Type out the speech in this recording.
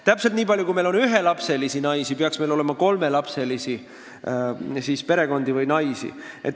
Täpselt nii palju, kui meil on ühelapselisi perekondi või naisi, peaks meil olema kolmelapselisi.